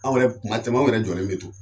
Anw yɛrɛ kuma caman anw yɛrɛ jɔnlen be to.